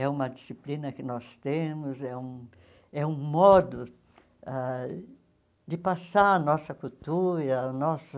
É uma disciplina que nós temos, é um é um modo ãh de passar a nossa cultura, a nossa...